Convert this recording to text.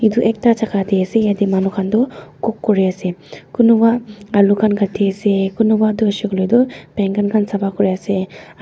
edu ekta jaka tae ase yatae manu khan toh cook kuriase kunuba alu khan Kati ase kunuba toh hoishey koilae tu dankan khan sapakuriase aru--